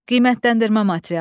Qiymətləndirmə materialı.